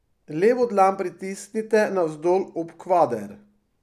Levo dlan pritisnite navzdol ob kvader.